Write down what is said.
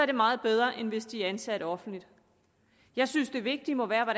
det meget bedre end hvis de er ansat offentligt jeg synes at det vigtige må være